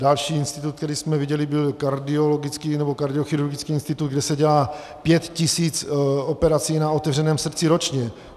Další institut, který jsme viděli, byl kardiologický, nebo kardiochirurgický institut, kde se dělá pět tisíc operací na otevřeném srdci ročně.